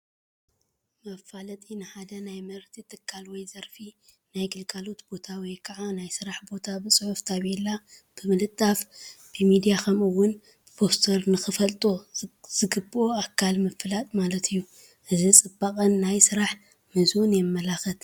መፋለጢ፡- ንሓደ ናይ ምህርቲ ትካል ወይ ዘርፊ ፣ ናይ ግልጋሎት ቦታ ወይ ከዓ ናይ ስራሕ ቦታ ብፅሑፍ ታፔላ ብምልጣፍ፣ ብሚድያ ከምኡ ውን ብፖስተር ንኽፈልጦ ዝግበኦ ኣካል ምፍላጥ ማለት እዩ፡፡ እዚ ፅባቐን ናይ ስራሕ ምህዞን የምልክት፡፡